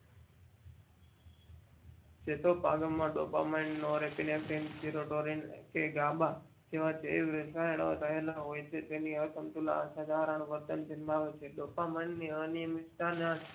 ચેતો પાગમ માં ડોપામાઈનનો આરોગીમેં સિરોસેરી કે ગાબા જેવા જીવ રસાયણો રહેલા હોય છે. તેની આ સમતુલા આ સાધારણતા રહેલા હોય છે તેથી અસમતુલા આ સાધારણ વર્તન નિભાવે છે ડોપામાઈનની અનિયમિંતતા જ